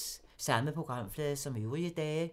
Samme programflade som øvrige dage